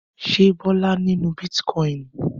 Ṣé Bọ́lá nínú bítíkọ́ìn?